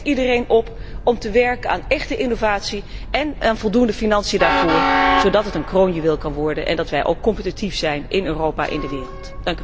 Ik roep echt iedereen op om te werken aan échte innovatie en aan voldoende financiën daarvoor, zodat het een kroonjuweel kan worden en wij competitief zijn in Europa en in de wereld.